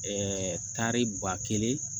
Ɛɛ tari ba kelen